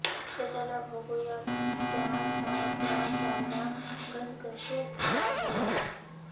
तर चला बघू या त्या सात रास ज्यांना घसघशीत लाभ होणार आहे